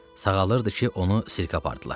Sağalırdı ki, onu sirkə apardılar.